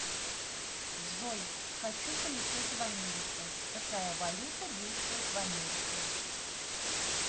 джой хочу полететь в америку какая валюта действует в америке